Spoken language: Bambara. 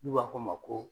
N'u b'a fɔ o ma ko